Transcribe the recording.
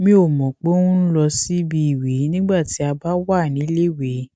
mi ò mò pé òun ń lọ síbi ìwè nígbà tí a bá wà níléèwé